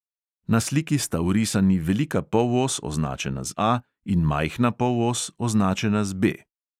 Na sliki sta vrisani velika polos, označena z A, in majhna polos, označena z B.